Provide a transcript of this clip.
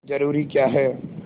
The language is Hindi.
जरूरी क्या है